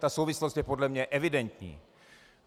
Ta souvislost je podle mě evidentní.